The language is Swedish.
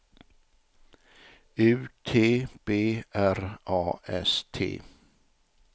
U T B R A S T